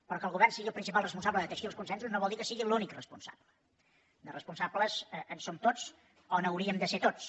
però que el govern sigui el principal responsable de teixir els consensos no vol dir que en sigui l’únic responsable de responsables en som tots o n’hauríem de ser tots